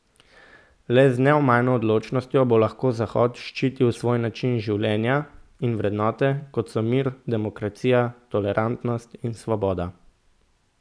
Le z neomajno odločnostjo bo lahko Zahod zaščitil svoj način življenja in vrednote, kot so mir, demokracija, tolerantnost in svoboda.